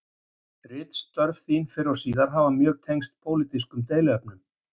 Ritstörf þín fyrr og síðar hafa mjög tengst pólitískum deiluefnum.